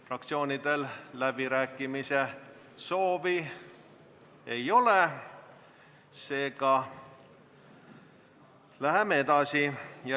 Fraktsioonidel läbirääkimise soovi ei ole, seega läheme edasi.